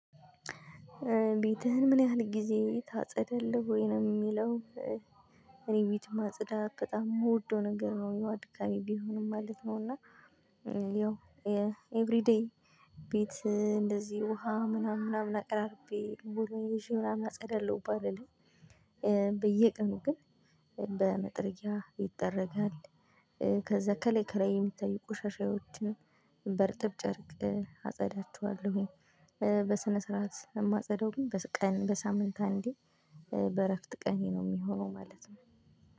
ቤትህን ምን ያህል ጊዜ ታጸዳለህ ወይ ነው የሚለው? እኔ ቤትን ማጽዳት በጣም የምወደው ነገር ነው ያው አድካሚ ቢሆንም ማለት ነው እና። ያው ኤቭሪ ዴይ ቤት እንደዚህ ውሃ ምናምን ምናምን አቅራርቤ ሞልወያዬን ይዤ ምናምን አጸዳለሁ ባልልም። በየቀኑ ግን በመጥረጊያ ይጠረጋል። ከዛ ከላይ ከላይ የሚታዩ ቆሻሻዎችን በርጥብ ጨርቅ አጸዳቸዋለሁኝ። በስነ ስርዓት የማጸዳው ግን ቀን በሳምንት አንዴ በእረፍት ቀኔ ነው የሚሆነው ማለት ነው።